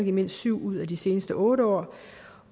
i mindst syv ud af de seneste otte år